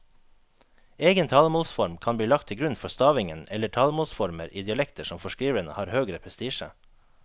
Egen talemålsform kan bli lagt til grunn for stavingen eller talemålsformer i dialekter som for skriveren har høgere prestisje.